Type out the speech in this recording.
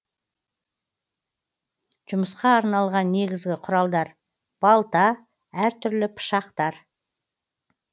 жұмысқа арналған негізгі құралдар балта әр түрлі пышақтар